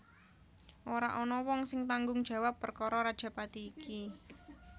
Ora ana wong sing tanggung jawab perkara rajapati iki